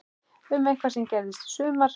Um eitthvað sem gerðist í sumar?